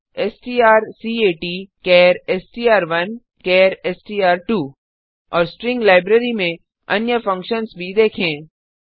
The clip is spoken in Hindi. सुझाव strcatचार एसटीआर1 चार एसटीआर2 और स्ट्रिंग लाइब्रेरी में अन्य फंक्शन्स भी देखें